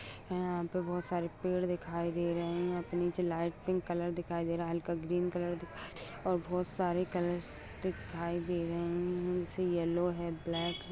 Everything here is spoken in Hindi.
यहाँ पर बहुत सारे पेड़ दिखाई दे है। और निचे लाइट पिंक कलर दिखाई दे रहा है। हल्का ग्रीन कलर दिखाई दे रहा है । और बहुत सारे कलर्स दिखाई दे रहे है। जैसे येल्लो है ब्लैक